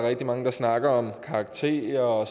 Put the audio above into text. rigtig mange der snakker om karakterer og